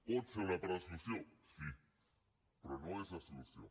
pot ser una part de la solució sí però no és la solució